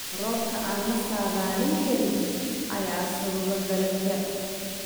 Roobabka aan la saadaalin karin ayaa sababa dalaga